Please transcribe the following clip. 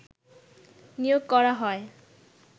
নিয়োগ করা হয়